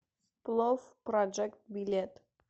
плов проджект билет